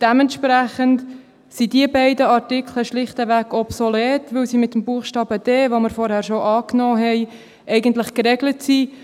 Dementsprechend sind diese beiden Artikel schlicht obsolet, weil sie mit dem Buchstabe d, den wir zuvor angenommen haben, eigentlich geregelt sind.